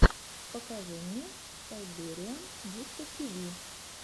покажи мне сайбериан дискотиви